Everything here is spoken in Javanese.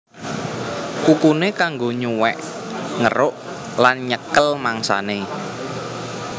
Kukuné kanggo nyuwèk ngeruk lan nyekel mangsané